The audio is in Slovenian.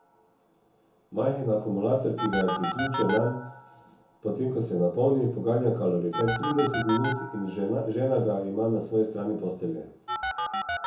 Majhen akumulator, ki ga je priključil nanj, potem ko se napolni, poganja kalorifer trideset minut in žena ga ima na svoji strani postelje.